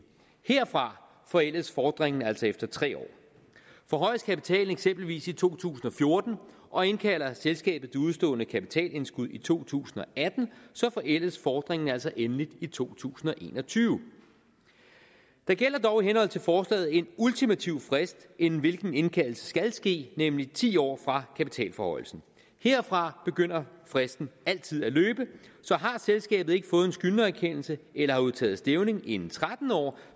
herfra forældes fordringen altså efter tre år forhøjes kapitalen eksempelvis i to tusind og fjorten og indkalder selskabet det udestående kapitalindskud i to tusind og atten forældes fordringen altså endeligt i to tusind og en og tyve der gælder dog i henhold til forslaget en ultimativ frist inden hvilken indkaldelse skal ske nemlig ti år fra kapitalforhøjelsen herfra begynder fristen altid at løbe så har selskabet ikke fået en skyldnererkendelse eller udtaget stævning inden tretten år